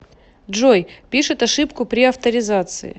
джой пишет ошибку при авторизации